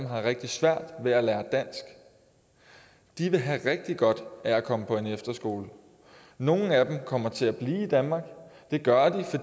har rigtig svært ved at lære dansk de ville have rigtig godt af at komme på en efterskole nogle af dem kommer til at blive i danmark og det gør